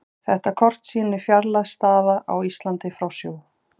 Þetta kort sýnir fjarlægð staða á Íslandi frá sjó.